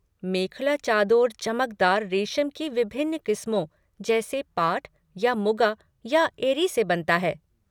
मेखला चादोर चमकदार रेशम की विभिन्न क़िस्मों जैसे पाट, या मुगा या एरी से बनता है।